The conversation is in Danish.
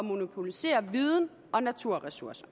monopolisere viden og naturressourcer